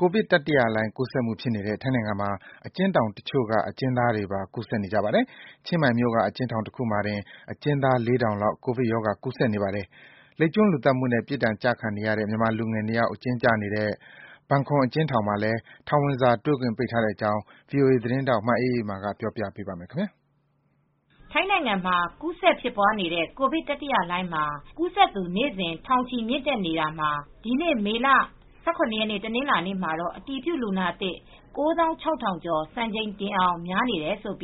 ကိုဗစ်တတိယလှိုှုင်း ကူးစက်မှုဖြစ်နေတဲ့ ထိုင်းနိုင်ငံမှာ အကျဉ်းထောင်တချို့က အကျဉ်းသားတွေမှာပါ ကူးစက်နေကြပါတယ်။ ချင်းမိုင်မြို့က အကျဉ်းထောင်တခုမှာတင် အကျဉ်းသား ၄,၀၀၀ လောက် ကိုဗစ်ရောဂါကူးစက်နေပါတယ်။ လိပ်ကျွန်းလူသတ်မှုနဲ့ ပြစ်ဒဏ်ကျခံနေရတဲ့ မြန်မာလူငယ် ၂ ယောက် အကျဉ်းကျနေတဲ့ ဘန်ခွမ်အကျဉ်းထောင်မှာလည်း ထောင်ဝင်စာ တွေ့ခွင့်ပိတ်ထားတဲ့အကြောင်း ဗွီအိုအေသတင်းထောက် မအေးအေးမာက တင်ပြပေးပါမယ်။ ထိုင်းနိုင်ငံမှာ ကူးစက်ဖြစ်ပွားနေတဲ့ ကိုဗစ်တတိယလှိုင်းမှာ ကူးစက်သူ နေ့စဉ် ထောင်ချီ မြင့်တက်နေတာမှာ ဒီနေ့ မေလ ၁၇ ရက် တနင်္လာနေ့မှာ အတည်ပြုလူနာသစ် ၉၆,၀၀၀ ကျော် စံချိန်တင်အောင် များနေတယ်လို့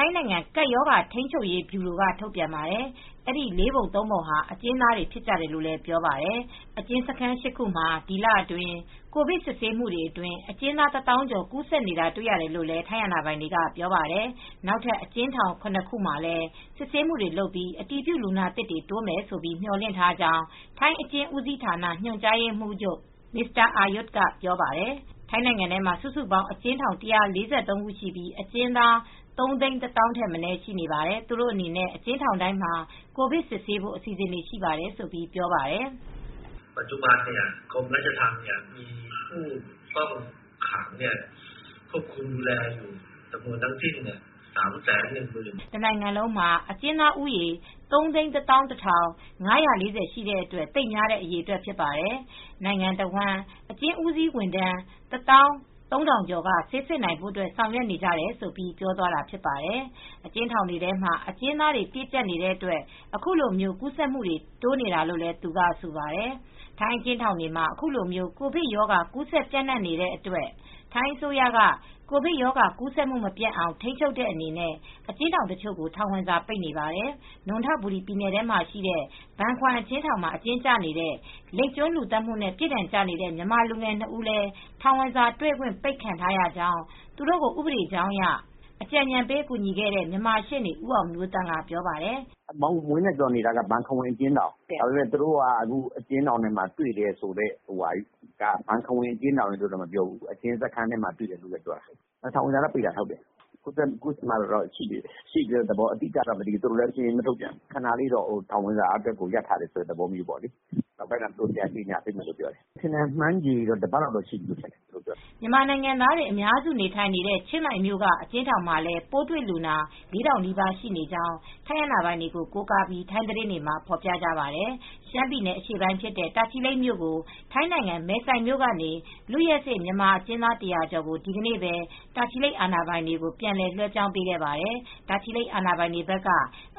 ထိုင်းနိုင်ငံကပ်ရောဂါ ထိန်းချုပ်ရေးဗျူရိုက ထုတ်ပြန်ပါတယ်။ အဲဒီ ၄ ပုံ ၃ ပုံဟာ အကျဉ်းသားတွေ ဖြစ်ကြတယ်လို့ပြောပါတယ်။ အကျဉ်းစခန်း ၈ ခုမှာ ဒီလအတွင်း ကိုဗစ် စစ်ဆေးမှုအတွင်း အကျဉ်းသား ၁၀,၀၀၀ ကျော် ကူးစက်နေတာတွေ့ရတယ်လို့ ထိုင်းအာဏာပိုင်တွေက ပြောပါတယ်။ နောက်ထပ် အကျဉ်းထောင် ၇ ခုမှာ လည်း စစ်ဆေးမှုတွေလုပ်နေပြီး အတည်ပြုလူနာသစ်တိုးမယ်လို့ မေ ျှာ်လင့်ထားကြောင်း ထိုင်းအကျဉ်းဦးစီးဌာန ညွှန်ကြားရေးမှူးချုပ် Aryut Sinthoppan ကပြောပါတယ်။ ထိုင်းနိုင်ငံထဲမှာ စုစုပေါင်း အကျဉ်းထောင် ၁၄၃ ခု ရှိပြီး အကျဉ်းသား ၃၁၀,၀၀၀ ထက်မနည်းရှိပါတယ်။ သူတို့အနေနဲ့ အကျဉ်းထောင်တိုင်းမှာ ကိုဗစ်စစ်ဆေးဖို့ အစီအစဉ်ရှိပါတယ်လို့ပြောပါတယ်။ "တနိုင်ငံလုံးမှာ အကျဉ်းသားဦးရေ ၃၁၁,၅၄၀ ရှိတဲ့အတွက် သိပ်များတဲ့ အရေအတွက်ဖြစ်တယ်။ နိုင်ငံတဝန်း အကျဉ်းဦးစီးဝန်ထမ်း ၁၃,၀၀၀ ကျော်က ဆေးစစ်နိုင်ဖို့ ဆောင်ရွက်နေကြတယ်။" လို့ ပြောသွားတာဖြစ်ပါတယ်။ အကျဉ်းထောင်တွေထဲမှာ အကျဉ်းသားတွေ ပြည့်ကြပ်နေတဲ့အတွက် ခုလို ကူးစက်မှု တိုးနေတာလို့လည်း သူကဆိုပါတယ်။ ထိုင်းအကျဉ်းထောင်တွေမှာ ခုလို ကိုဗစ်ရောဂါ ကူးစက်ပျံ့နှံ့နေတဲ့အတွက် ထိုင်းအစိုးရက ကိုဗစ်ရောဂါကူးစက်မှု မပျံ့အောင် ထိန်းချုပ်တဲ့အနေနဲ့ အကျဉ်းထောင်တချို့ကို ထောင်ဝင်စာပိတ်နေပါတယ်။ နွံထဘူရီပြည်နယ်ထဲမှာ ရှိတဲ့ ဘန်ခွမ်အကျဉ်းထောင်မှာ အကျဉ်းကျနေတဲ့ လိပ်ကျွန်းလူသတ်မှုနဲ့ ပြစ်ဒဏ်ကျနေတဲ့ မြန်မာလူငယ် ၂ ဦးလည်း ထောင်ဝင်စာတွေ့ခွင့်ပိတ်ခံထားရကြောင်း သူတို့ကို ဥပဒေကြောင်းအရ အကြံဉာဏ်ပေးကူညီခဲ့တဲ့ မြန်မာရှေနေ့ ဦးအောင်မျိုးသန့်က အခုလိုပြောပါတယ်။ "ဝင်းနဲ့ ဇော်နေတာက ဘန်ခွမ်အကျဉ်းထောင်။ ဒါပေမဲ့ သူတို့က အကျဉ်းထောင်ထဲမှာ တွေ့တယ်ဆိုတာပြောတယ်။ ဘန်ခွမ်အကျဉ်းထောင်ရယ်လို့တော့ မပြောဘူး။ အကျဉ်းစခန်းတွေမှာ တွေ့တယ်ပြောတယ်။ ထောင်ဝင်စာပိတ်တာတော့ ဟုတ်တယ်။ ဘန်ခွမ်အကျဉ်းထောင်မှာ ရှိတယ်လို့တော့ မပြောဘူး။ သတင်းမထုတ်ပြန်ဘူး။ ခဏလေး ထောင်ဝင်စာရပ်တာတော့ဟုတ်တယ်။ နောက်ပိုင်းမှာ ပြန်ကြေငြာပေးမယ်ပြောတယ်။ ခန့်မှန်းခြေကတော့ တပတ်လောက်ရှိပြီ။" မြန်မာနိုင်ငံသားတွေ အများစု နေ ထိုင်နေတဲ့ ချင်းမိုင်မြို့က အကျဉ်းထောင်မှာလည်း ပိုးတွေ့လူနာ ၄,၀၀၀ နီးပါး ရှိနေကြောင်း ထိုင်းအာဏာပိုင်တွေကို ကိုးကားပြီး ထိုင်းသတင်းတွေမှာ ဖော်ပြပါတယ်။ ရှမ်းပြည်နယ် ဖြစ်တဲ့ တာချီလိတ်မြို့ကို ထိုင်းနိုင်ငံမယ်ဆိုင်မြို့ကနေ လွတ်ရက်စေ့မြန်မာအကျဉ်းသား ၁၀၀ ကျော်ကို ဒီနေ့ပဲ တာချီလိတ် အာဏာပိုင်တွေကို ပြန်လည် လွဲှပြောင်းပေးခဲ့ပါတယ်။ တာချီလိတ်အာဏာပိုင်တွေဘက်က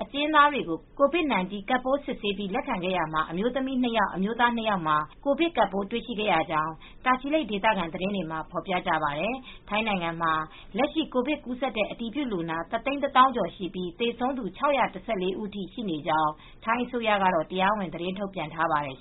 အကျဉ်းသားတွေကို COVID 19 ကပ်ပိုး စစ်ဆေးပြီး လက်ခံခဲ့ရာမှာ အမျိုးသမီး ၂ ယောက်၊ အမျိုးသား ၂ ယောက်မှာ ကိုဗစ်ကပ်ပိုး တွေ့ရှိခဲ့ရကြောင်း တာချီလိတ် ဒေသခံသတင်းတွေမှာ ဖော်ပြကြပါတယ်။ ထိုင်းနိုင်ငံမှာ လက်ရှိ ကိုဗစ်ကပ်ပိုး ကူးစက်တဲ့ အတည်ပြုလူနာ ၁၁၀,၀၀၀ ကျော် ရှိနေပြီး သေဆုံးသူ ၆၁၄ ဦးထိ ရှိနေကြောင်း ထိုင်းအစိုးရကတော့ တရားဝင်သတင်းထုတ်ပြန်ထားပါတယ်